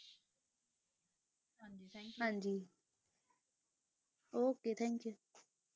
ਹਾਂਜੀ okay thank you